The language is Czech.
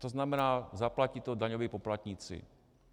To znamená, zaplatí to daňoví poplatníci.